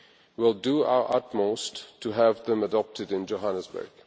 We will do our utmost to have them adopted in Johannesburg.